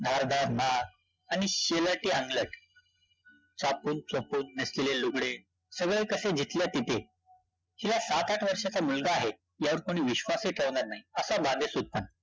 धारधार नाक आणि शेलाटी अंगलट. चापूनचुपून नेसलेले लुगडे. सगळं कस जिथल्या तिथे. शिवाय सात-आठ वर्षाचा मुलगा आहे. यावर कोणी विश्वासहि ठेवणार नाही. असा बांधेसूदपणा.